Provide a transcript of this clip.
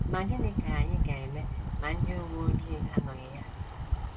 Ma gịnị ka anyị ga - eme ma ndị uwe ojii anọghị ya?